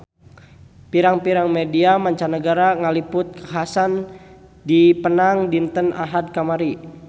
Pirang-pirang media mancanagara ngaliput kakhasan di Penang dinten Ahad kamari